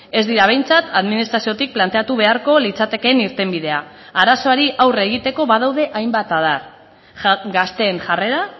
ez dira behintzat administraziotik planteatu beharko litzatekeen irtenbidea arazoari aurre egiteko badaude hainbat adar gazteen jarrera